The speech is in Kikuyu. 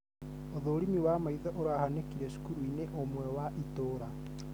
Ũthũrimi wa maitho ũrahanĩkĩire cukuru-inĩ ũmwe wa itũra